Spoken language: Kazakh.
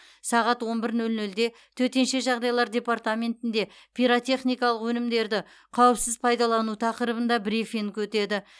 сағат он бір нөл нөлде төтенше жағдайлар департаментінде пиротехникалық өнімдерді қауіпсіз пайдалану тақырыбында брифинг өтеді